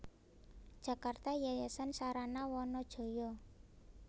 Jakarta Yayasan Sarana Wana Jaya